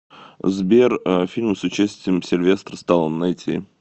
сбер фильмы с участием сильвестра сталлоне найти